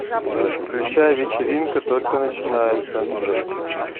включай вечеринка только начинается